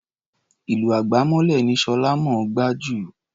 Ìlù àgbámọ́lẹ̀ ni Ṣọlá mọ̀ ọ́n gbá jù.